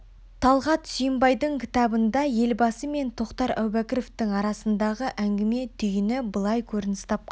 талғат сүйінбайдың кітабында елбасы мен тоқтар әубәкіровтің арасындағы әңгіме түйіні былай көрініс тапқан